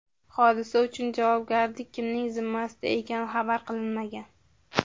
Hodisa uchun javobgarlik kimning zimmasida ekani xabar qilinmagan.